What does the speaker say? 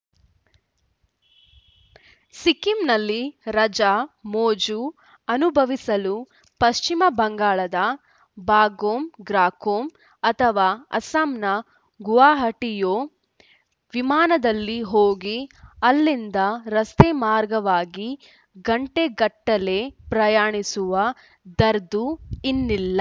ಸಿಕ್ಕಿಂನಲ್ಲಿ ರಜಾ ಮೋಜು ಅನುಭವಿಸಲು ಪಶ್ಚಿಮ ಬಂಗಾಳದ ಬಾಗ್ಡೋಗ್ರಾಕ್ಕೋ ಅಥವಾ ಅಸ್ಸಾಂನ ಗುವಾಹಟಿಗೋ ವಿಮಾನದಲ್ಲಿ ಹೋಗಿ ಅಲ್ಲಿಂದ ರಸ್ತೆ ಮಾರ್ಗವಾಗಿ ಗಂಟೆಗಟ್ಟಲೆ ಪ್ರಯಾಣಿಸುವ ದರ್ದು ಇನ್ನಿಲ್ಲ